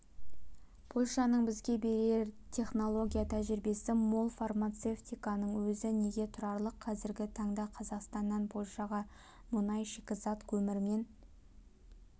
польшаның бізге берер теінологя-тәжірибесі мол фармацевтиканың өзі неге тұрарлық қазіргі таңда қазақстаннан польшаға мұнай шикізат көмірмен